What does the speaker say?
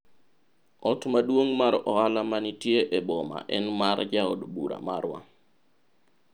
ot maduong' mar ohala manitie e boma en mar jaod bura marwa